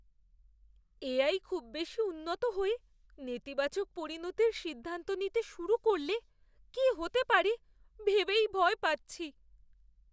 AI খুব বেশি উন্নত হয়ে নেতিবাচক পরিণতির সিদ্ধান্ত নিতে শুরু করলে কি হতে পারে ভেবেই ভয় পাচ্ছি।